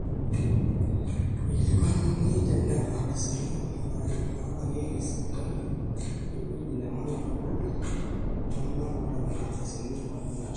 eikilikuanuni nena ardasini naalakieki sipitali wewueji nemanya oltung'ani ooltung'anak oota nena ardasini olemeeta